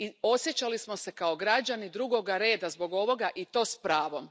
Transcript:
Osjećali smo se kao građani drugog reda zbog ovoga, i to s pravom.